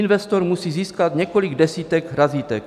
Investor musí získat několik desítek razítek.